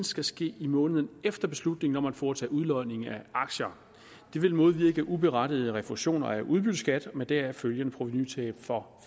skal ske i måneden efter beslutningen om at foretage udlodning af aktier det vil modvirke uberettigede refusioner af udbytteskat med deraf følgende provenutab for